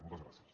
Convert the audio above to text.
moltes gràcies